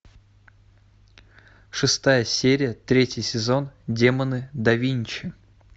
шестая серия третий сезон демоны да винчи